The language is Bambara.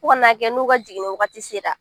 Fo ka na a kɛ n'u ka jiginni waati sera